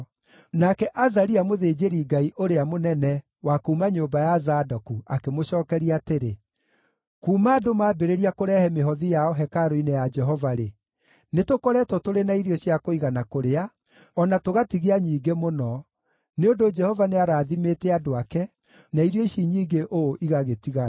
nake Azaria mũthĩnjĩri-Ngai ũrĩa mũnene wa kuuma nyũmba ya Zadoku akĩmũcookeria atĩrĩ, “Kuuma andũ maambĩrĩria kũrehe mĩhothi yao hekarũ-inĩ ya Jehova-rĩ, nĩtũkoretwo tũrĩ na irio cia kũigana kũrĩa, o na tũgatigia nyingĩ mũno, nĩ ũndũ Jehova nĩarathimĩte andũ ake, na irio ici nyingĩ ũũ igagĩtigara.”